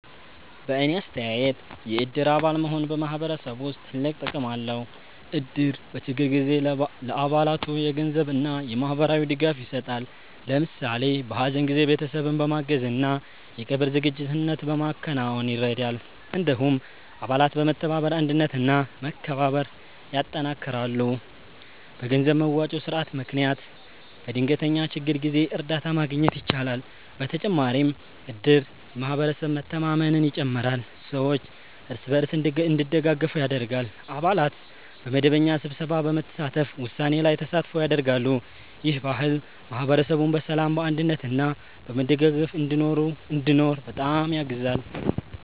በእኔ አስተያየት የእድር አባል መሆን በማህበረሰብ ውስጥ ትልቅ ጥቅም አለው። እድር በችግር ጊዜ ለአባላቱ የገንዘብ እና የማህበራዊ ድጋፍ ይሰጣል። ለምሳሌ በሀዘን ጊዜ ቤተሰብን በማገዝ እና የቀብር ዝግጅት በማከናወን ይረዳል። እንዲሁም አባላት በመተባበር አንድነት እና መከባበር ያጠናክራሉ። በገንዘብ መዋጮ ስርዓት ምክንያት በድንገተኛ ችግር ጊዜ እርዳታ ማግኘት ይቻላል። በተጨማሪም እድር የማህበረሰብ መተማመንን ይጨምራል፣ ሰዎች እርስ በርስ እንዲደጋገፉ ያደርጋል። አባላት በመደበኛ ስብሰባ በመሳተፍ ውሳኔ ላይ ተሳትፎ ያደርጋሉ። ይህ ባህል ማህበረሰቡን በሰላም፣ በአንድነት እና በመደጋገፍ እንዲኖር በጣም ያግዛል።